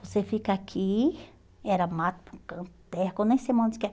Você fica aqui, era mato por um campo de terra, que eu nem sei mais onde que era